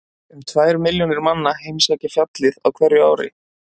um tvær milljónir manna heimsækja fjallið á hverju ári